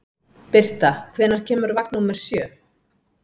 Birta, hvenær kemur vagn númer sjö?